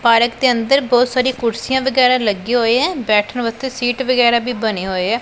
Park ਦੇ ਅੰਦਰ ਬਹੁਤ ਸਾਰੀ ਕੁਰਸੀਆਂ ਵਗੈਰਾ ਲੱਗੇ ਹੋਏ ਐ ਬੈਠਣ ਵਾਸਤੇ ਸੀਟ ਵਗੈਰਾ ਵੀ ਬਣੇ ਹੋਏ ਐ।